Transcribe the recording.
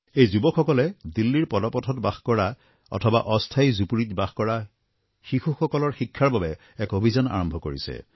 এই যুৱকসকলে দিল্লীৰ পদপথত বাস কৰা অথবা অস্থায়ী জুপৰীত বাস কৰা শিশুসকলৰ শিক্ষাৰ বাবে এক অভিযান আৰম্ভ কৰিছে